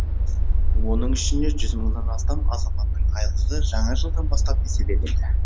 оның ішінде жүз мыңнан астам азаматтың айлығы жаңа жылдан бастап еселенеді